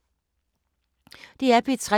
DR P3